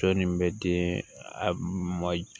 Sɔ nin bɛ di a ma